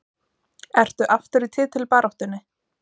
Ertu aftur í titilbaráttunni?